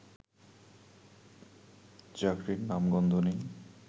চাকরির নামগন্ধ নেই